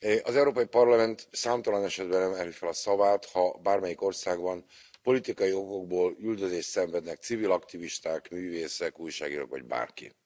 Az Európai Parlament számtalan esetben emeli fel a szavát, ha bármelyik országban politikai okokból üldözést szenvednek civil aktivisták, művészek, újságírók vagy bárki.